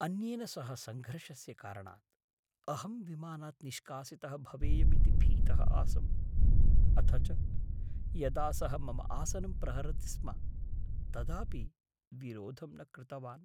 अन्येन सह सङ्घर्षस्य कारणात् अहं विमानात् निष्कासितः भवेयमिति भीतः आसम्, अथ च यदा सः मम आसनं प्रहरति स्म तदापि विरोधं न कृतवान्।